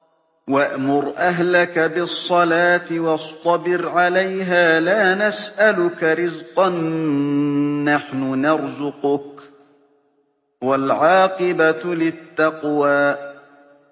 وَأْمُرْ أَهْلَكَ بِالصَّلَاةِ وَاصْطَبِرْ عَلَيْهَا ۖ لَا نَسْأَلُكَ رِزْقًا ۖ نَّحْنُ نَرْزُقُكَ ۗ وَالْعَاقِبَةُ لِلتَّقْوَىٰ